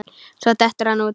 Svo dettur hann út.